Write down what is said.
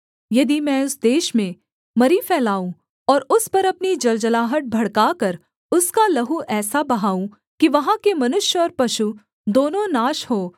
यदि मैं उस देश में मरी फैलाऊँ और उस पर अपनी जलजलाहट भड़काकर उसका लहू ऐसा बहाऊँ कि वहाँ के मनुष्य और पशु दोनों नाश हों